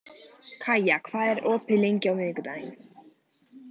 Kaía, hvað er opið lengi á miðvikudaginn?